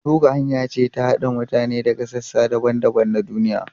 Facebook hanya ce ta haɗa mutane daga sassa daban-daban na duniya.